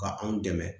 Ka anw dɛmɛ